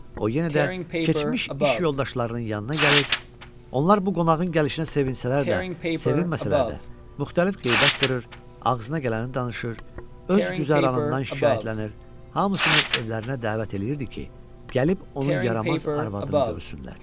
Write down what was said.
O yenə də keçmiş iş yoldaşlarının yanına gəlir, onlar bu qonağın gəlişinə sevinsələr də, sevinməsələr də, müxtəlif qeybət qırır, ağzına gələni danışır, öz güzəranından şikayətlənir, hamısını evlərinə dəvət eləyirdi ki, gəlib onun yaramaz arvadını görsünlər.